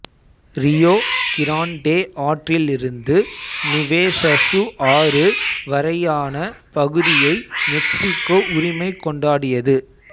Rio Grande ஆற்றிலிருந்து நுவேசசு ஆறு வரையான பகுதியை மெக்சிக்கோ உரிமை கொண்டாடியது